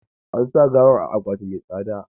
An sa gawar a akwati mai tsada.